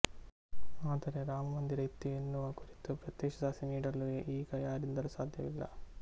ಆದರೆ ರಾಮಮಂದಿರ ಇತ್ತು ಎನ್ನುವ ಕುರಿತು ಪ್ರತ್ಯಕ್ಷ ಸಾಕ್ಷಿ ನೀಡಲು ಈಗ ಯಾರಿಂದಲೂ ಸಾಧ್ಯವಿಲ್ಲ